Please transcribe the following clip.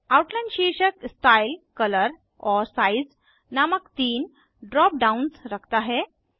outline शीर्षक style colour और size नामक 3 ड्राप डाउन्स रखता है